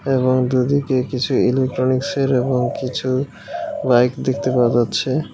এবং যদি কেউ কিছু ইলেকট্রনিক্সের এবং কিছু বাইক দেখতে পাওয়া যাচ্ছে .